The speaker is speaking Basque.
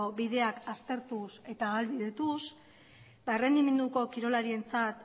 bideak aztertuz eta ahalbidetuz errendimenduko kirolarientzat